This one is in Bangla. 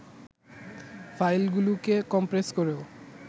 ফাইলগুলোকে কম্প্রেস করেও